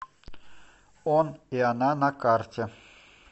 он и она на карте